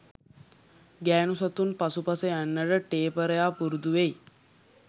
ගෑනු සතුන් පසුපස යන්නට ටේපරයා පුරුදු වෙයි